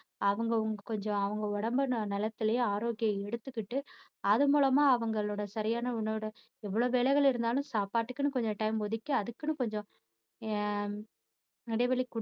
அவங்க கொஞ்சம் அவங்க உடம்ப நலத்துலேயும் ஆரோக்கியம் எடுத்துக்கிட்டு அதுமூலமா அவங்களோட சரியான உணவுட எவ்வளவு வேலைகள் இருந்தாலும் சாப்பாட்டுக்குன்னு கொஞ்சம் time ஒதுக்கி அதுக்குன்னு கொஞ்சம் ஆஹ் இடைவெளி